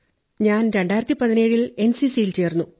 ഞാൻ 2017 ൽ എൻസിസിയിൽ ചേർന്നു